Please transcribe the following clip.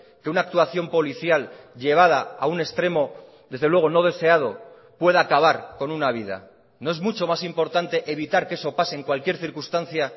que una actuación policial llevada a un extremo desde luego no deseado pueda acabar con una vida no es mucho más importante evitar que eso pase en cualquier circunstancia